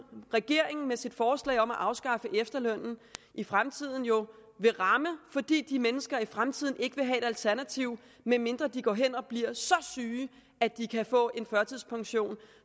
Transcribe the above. regeringen med sit forslag om at afskaffe efterlønnen i fremtiden jo vil ramme fordi de mennesker i fremtiden ikke vil have et alternativ medmindre de går hen og bliver så syge at de kan få en førtidspension